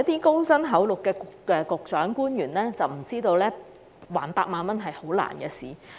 高薪厚祿的局長、官員可能有所不知，償還8萬元是很難的事。